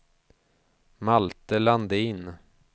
Malte Landin